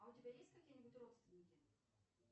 а у тебя есть какие нибудь родственники